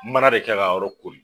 Mana de kɛ ka yɔrɔ koori.